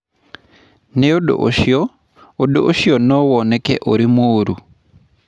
Nĩ ũndũ ũcio, ũndũ ũcio no woneke ũrĩ mũũru.